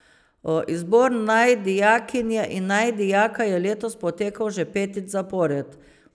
Izbor naj dijakinje in naj dijaka je letos potekal že petič zapored.